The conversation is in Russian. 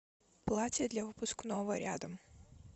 платье для выпускного рядом